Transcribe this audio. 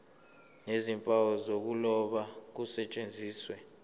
nezimpawu zokuloba kusetshenziswe